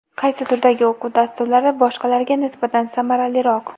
Qaysi turdagi o‘quv dasturlari boshqalariga nisbatan samaraliroq?